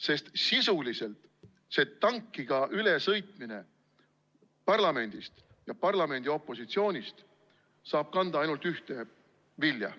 Sest sisuliselt see tankiga ülesõitmine parlamendist ja parlamendi opositsioonist saab kanda ainult ühte vilja.